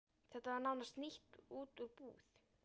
Þetta var nánast nýtt út úr búð.